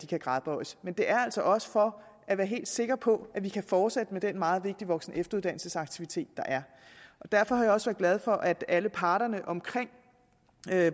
kan gradbøjes men det er altså også for at være helt sikker på at vi kan fortsætte med den meget vigtige voksen og efteruddannelsesaktivitet der er derfor har jeg også glad for at alle parterne omkring